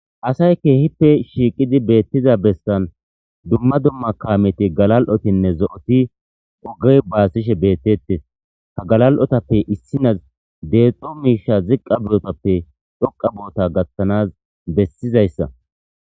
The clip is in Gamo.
Asay keehippe shiiqidi beettiza bestan dumma dumma kaameti galal'otinne zo7oti ogey baasishe bettettes ha galal'otappe issinaz deexxo miisha ziqqa bootappe dhoqa boota gattanas bessizayssa.